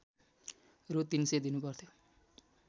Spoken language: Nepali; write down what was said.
रू ३०० दिनुपर्थ्यो